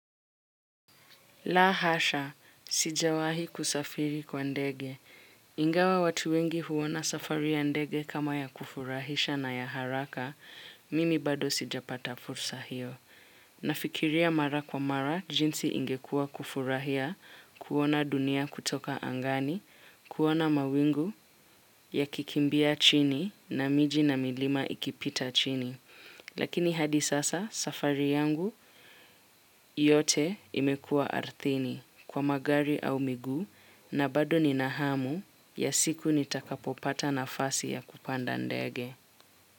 Lahasha, sijawahi kusafiri kwa ndege. Ingawa watu wengi huwona safari ya ndege kama ya kufurahisha na ya haraka, mini bado sijapata fursa hiyo. Nafikiria mara kwa mara, jinsi ingekua kufurahia, kuwona dunia kutoka angani, kuwona mawingu ya kikimbia chini na miji na milima ikipita chini. Lakini hadi sasa safari yangu yote imekua ardhini. Kwa magari au miguu na bado ni nahamu ya siku ni takapopata na fasi ya kupanda ndege.